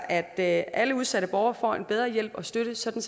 at at alle udsatte borgere får en bedre hjælp og støtte sådan